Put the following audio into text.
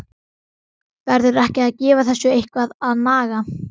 Verður ekki að gefa þessu eitthvað að naga?